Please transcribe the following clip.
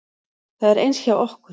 Það er eins hjá okkur.